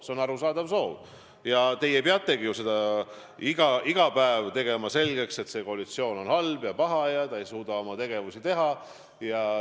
See on arusaadav soov ja te peategi iga päev selgeks tegema, et valitsev koalitsioon on halb ja paha ega suuda tegutseda.